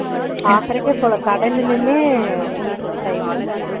போய் கடைல நின்னு முடிஞ்சுபோச்சு time மு